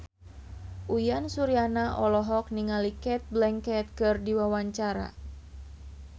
Uyan Suryana olohok ningali Cate Blanchett keur diwawancara